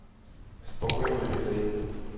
спокойной ночи зай